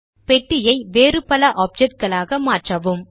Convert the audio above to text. பெட்டியை வேறு பல ஆப்ஜெக்ட் களாக மாற்றவும்